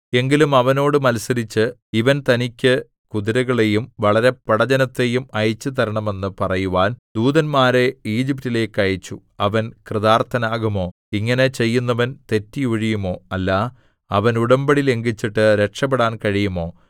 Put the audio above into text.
എങ്കിലും അവനോട് മത്സരിച്ച് ഇവൻ തനിക്ക് കുതിരകളെയും വളരെ പടജ്ജനത്തെയും അയച്ചുതരണമെന്ന് പറയുവാൻ ദൂതന്മാരെ ഈജിപ്റ്റിലേക്ക് അയച്ചു അവൻ കൃതാർത്ഥനാകുമോ ഇങ്ങനെ ചെയ്യുന്നവൻ തെറ്റി ഒഴിയുമോ അല്ല അവൻ ഉടമ്പടി ലംഘിച്ചിട്ട് രക്ഷപ്പെടാൻ കഴിയുമോ